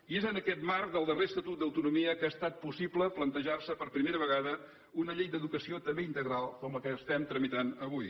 i és en aquest marc del darrer estatut d’autonomia que ha estat possible plantejarse per primera vegada una llei d’educació també integral com la que estem tramitant avui